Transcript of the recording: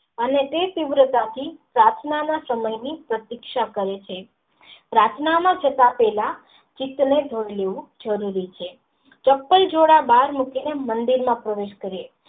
અને તે તીવ્ર ચાર થી પ્રાર્થના ના ચમની પ્રતીક્ષા કરે છે પ્રાર્થના માં જતા પહેલા ચિતં થવું જરુરી છે ચંપલ જોડા બાર મૂકી ને મંદિર માં પ્રવેસ કરે.